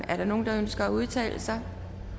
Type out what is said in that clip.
er der nogen der ønsker at udtale sig